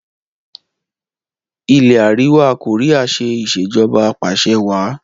ilé àríwá Korea ṣe Ìṣèjọba Apàṣẹwàá